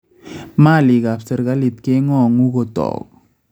Maalik ab serkalit keng�oongu kotook